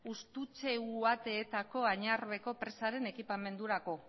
ustutze añarbeko presaren ekipamendurako